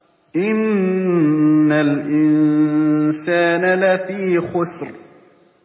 إِنَّ الْإِنسَانَ لَفِي خُسْرٍ